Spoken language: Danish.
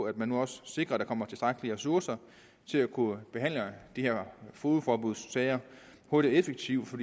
at man nu også sikrer at der kommer tilstrækkelige ressourcer til at kunne behandle de her fogedforbudssager hurtigt og effektivt for